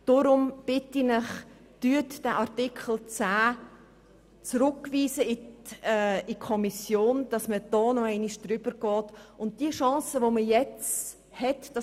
Ich bitte Sie deshalb, Artikel 10 an die Kommission zurückzuweisen, damit man diese Frage nochmals anschauen kann.